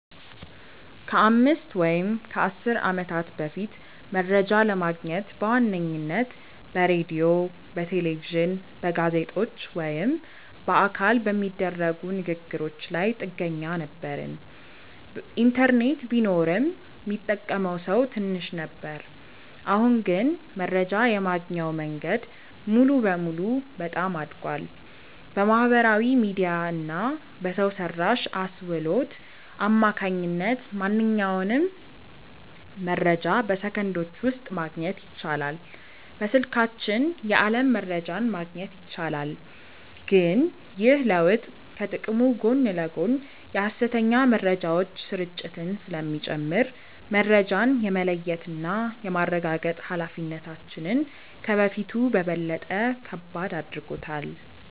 ከአምስት ወይም ከአሥር ዓመታት በፊት መረጃ ለማግኘት በዋነኝነት በሬዲዮ፣ በቴሌቪዥን፣ በጋዜጦች ወይም በአካል በሚደረጉ ንግ ግሮች ላይ ጥገኛ ነበርን። ኢንተርኔት ቢኖርም ሚጠቀመው ሰው ትንሽ ነበር። አሁን ግን መረጃ የማግኛው መንገድ ሙሉ በሙሉ በጣም አድጓል። በማህበራዊ ሚዲያ እና በሰው ሰራሽ አስውሎት አማካኝነት ማንኛውንም መረጃ በሰከንዶች ውስጥ ማግኘት ይቻላል። በስልካችን የዓለም መረጃን ማግኘት ይቻላል። ግን ይህ ለውጥ ከጥቅሙ ጎን ለጎን የሐሰተኛ መረጃዎች ስርጭትን ስለሚጨምር፣ መረጃን የመለየትና የማረጋገጥ ኃላፊነታችንን ከበፊቱ በበለጠ ከባድ አድርጎታል።